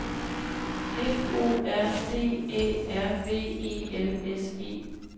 F O R D Æ R V E L S E